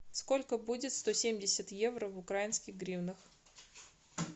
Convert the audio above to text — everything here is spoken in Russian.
сколько будет сто семьдесят евро в украинских гривнах